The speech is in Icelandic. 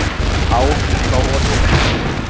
Ár frá olíulekanum